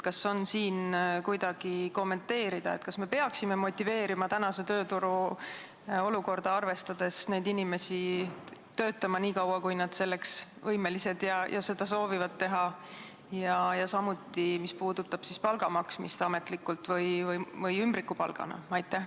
Kas on võimalik kommenteerida, kas me peaksime tänase tööturu olukorda arvestades motiveerima neid inimesi töötama nii kaua, kuni nad selleks võimelised on ja soovivad seda teha, ja samuti seda, mis puudutab palga maksmist ametlikult või ümbrikupalgana?